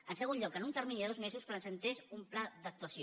en segon lloc que en un termini de dos mesos presentés un pla d’actuació